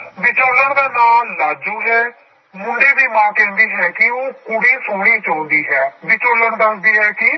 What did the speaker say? ਵਿਚੋਲਣ ਦਾ ਨਾਂ ਲਾਜੋ ਹੈ ਮੁੰਡੇ ਦੀ ਮਾਂ ਕਹਿੰਦੀ ਹੈ ਕਿ ਉਹ ਕੁੜੀ ਸੋਹਣੀ ਚਾਹੁੰਦੀ ਹੈ, ਵਿਚੋਲਣ ਦੱਸਦੀ ਹੈ ਕਿ